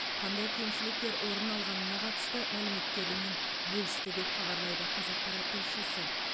қандай кемшіліктер орын алғанына қатысты мәліметтерімен бөлісті деп хабарлайды қазақпарат тілшісі